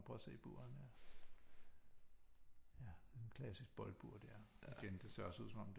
Må jeg prøve at se buret her ja et klassisk boldbur der igen det ser også ud som om